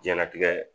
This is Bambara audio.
Jɛnatigɛ